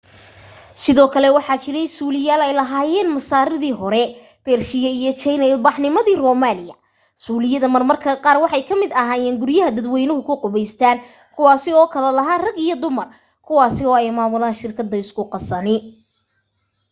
sidoo kale waxaa jiray suuliyaal ay lahaayeen masaaridii hore bershiya iyo jayne ilbaxnimadii romaaniya suuliyada marmarka qaar waxay kamid ahaayeen guryaha dadweynu ku qubaystaan kuwaasi oo kala lahaa rag iyo dumar kuwasi oo ay maamulan shirkadu isku qasani